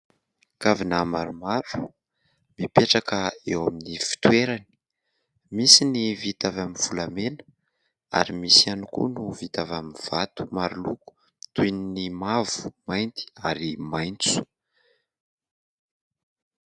Kavina maromavo mipetraka eo amin'ny fitoerany. Misy ny vita avy amin'ny volamena ary misy ihany koa no vita avy amin'ny vato maroloko toy ny mavo, mainty ary maitso.